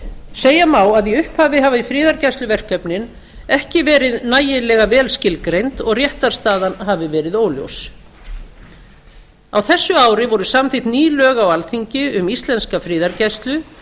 segja má að í upphafi hafi friðargæsluverkefnin ekki verið nægilega vel skilgreind og réttarstaðan hafi verið óljós á þessu ári voru samþykkt ný lög á alþingi um íslenska friðargæslu